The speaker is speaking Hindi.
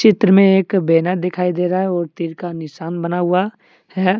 चित्र में एक बैनर दिखाई दे रहा है और तीर का निशान बना हुआ है।